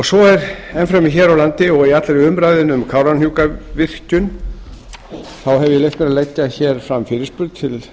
svo er enn fremur hér á landi og í allri umræðunni um kárahnjúkavirkjun hef ég leyft mér að leggja hér fram fyrirspurn til